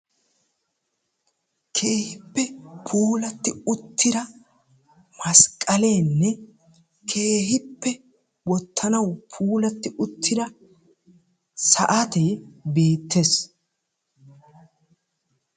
Keehippe puulatti uttida masqqaleenne keehippe wottanawu puulatti uttida saatee beettees.